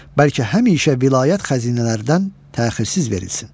Bəlkə həmişə vilayət xəzinələrindən təxirziz verilsin.